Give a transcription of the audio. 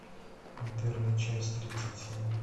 интерны часть тридцать семь